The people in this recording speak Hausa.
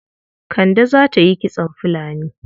Kande za ta yi kitson filani.